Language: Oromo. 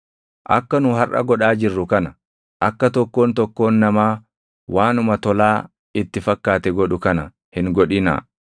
Akka nu harʼa godhaa jirru kana, akka tokkoon tokkoon namaa waanuma tolaa itti fakkaate godhu kana hin godhinaa;